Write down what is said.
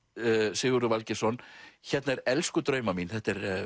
Sigurður Valgeirsson hérna er elsku drauma mín þetta er